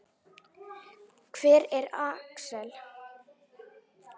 Hver er Axel?